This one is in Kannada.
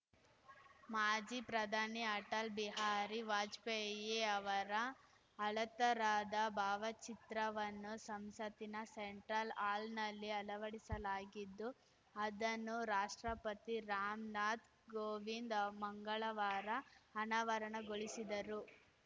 ಮಾಜಿ ಪ್ರಧಾನಿ ಅಟಲ್‌ ಬಿಹಾರಿ ವಾಜಪೇಯಿ ಅವರ ಅಳೆತ್ತರದ ಭಾವಚಿತ್ರವನ್ನು ಸಂಸತ್ತಿನ ಸೆಂಟ್ರಲ್‌ ಆಲ್‌ನಲ್ಲಿ ಅಳವಡಿಸಲಾಗಿದ್ದು ಅದನ್ನು ರಾಷ್ಟ್ರಪತಿ ರಾಮ್‌ನಾಥ್‌ ಕೋವಿಂದ್‌ ಮಂಗಳವಾರ ಅನಾವರಣಗೊಳಿಸಿದರು